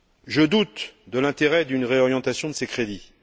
Je doute de l'intérêt d'une réorientation de ces crédits.